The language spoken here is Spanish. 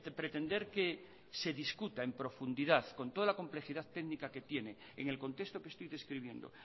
pretender que se discuta en profundidad con toda la complejidad técnica que tiene en el contexto que estoy describiendo